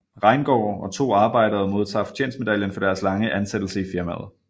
Reingaard og to arbejdere modtager fortjenstmedaljen for deres lange ansættelse i firmaet